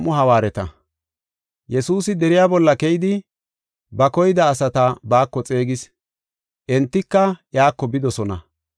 Yesuusi deriya bolla keyidi, ba koyida asata baako xeegis; entika iyako bidosona.